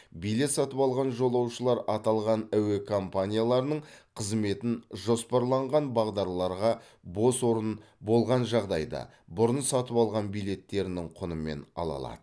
билет сатып алған жолаушылар аталған әуе компанияларының қызметін жоспарланған бағдарларға бос орын болған жағдайда бұрын сатып алған билеттерінің құнымен ала алады